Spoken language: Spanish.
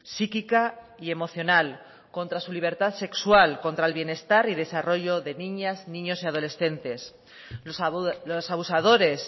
psíquica y emocional contra su libertad sexual contra el bienestar y desarrollo de niñas niños y adolescentes los abusadores